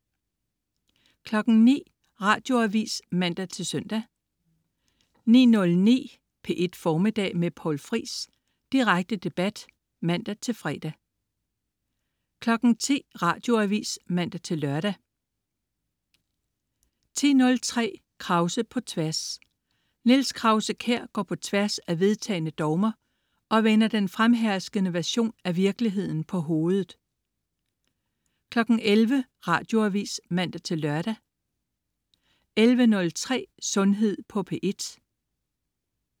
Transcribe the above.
09.00 Radioavis (man-søn) 09.09 P1 Formiddag med Poul Friis. Direkte debat (man-fre) 10.00 Radioavis (man-lør) 10.03 Krause på Tværs. Niels Krause-Kjær går på tværs af vedtagne dogmer, og vender den fremherskende version af virkeligheden på hovedet 11.00 Radioavis (man-lør) 11.03 Sundhed på P1